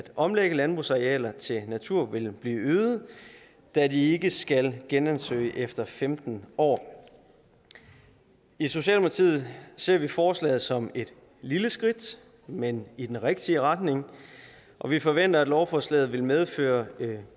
omlægge landbrugsarealer til natur vil blive øget da de ikke skal genansøge efter femten år i socialdemokratiet ser vi forslaget som et lille skridt men i den rigtige retning og vi forventer at lovforslaget vil medføre